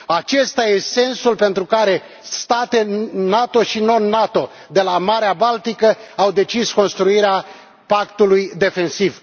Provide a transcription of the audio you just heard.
Acesta e sensul pentru care state NATO și non NATO de la Marea Baltică au decis construirea pactului defensiv.